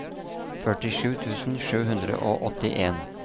førtisju tusen sju hundre og åttien